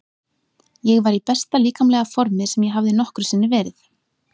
Ég var í besta líkamlega formi sem ég hafði nokkru sinni verið.